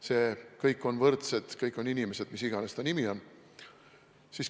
See, et kõik on võrdsed, kõik on inimesed – mis iganes selle nimi on.